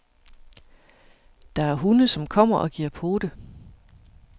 Der er hunde, som kommer og giver pote.